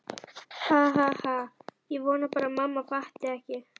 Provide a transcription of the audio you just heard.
Ha ha ha- ég vona bara að mamma fatti ekki.